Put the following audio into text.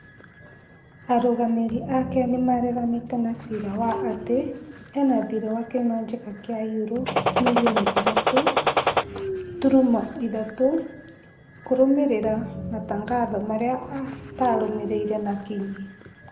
Arũgamĩrĩri ake nĩmareganĩte na ciira wa atĩ ena thiirĩ wa kĩmanjĩka kĩa euro mirioni ithatũ turuma ithatũ kũrũmĩrĩra matangatho marĩ a atarũmĩrĩire na kinyi